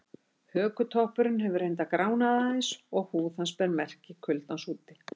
Hökutoppurinn hefur reyndar gránað aðeins og húð hans ber merki kuldans úti.